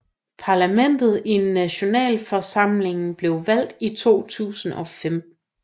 Parlamentet i Nationalforsamlingen blev valgt i 2005